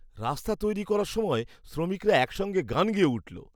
রাস্তা তৈরি করার সময় শ্রমিকরা একসঙ্গে গান গেয়ে উঠল।